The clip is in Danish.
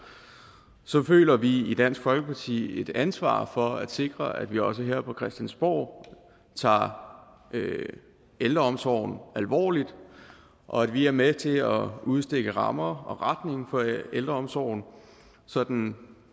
føler vi i dansk folkeparti et ansvar for at sikre at vi også her på christiansborg tager ældreomsorgen alvorligt og at vi er med til at udstikke rammer og retning for ældreomsorgen så den